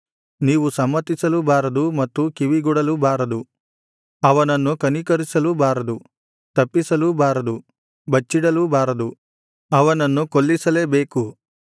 ನೀವು ಸಮ್ಮತಿಸಲೂ ಬಾರದು ಮತ್ತು ಕಿವಿಗೊಡಲೂಬಾರದು ಅವನನ್ನು ಕನಿಕರಿಸಲೂಬಾರದು ತಪ್ಪಿಸಲೂಬಾರದು ಬಚ್ಚಿಡಲೂಬಾರದು ಅವನನ್ನು ಕೊಲ್ಲಿಸಲೇಬೇಕು